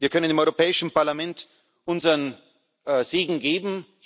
Wir können im Europäischen Parlament unseren Segen geben.